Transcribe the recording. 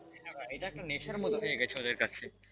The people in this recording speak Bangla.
হ্যাঁ ভাই এটা একটা নেশার মতো হয়ে গেছে ওদের কাছে,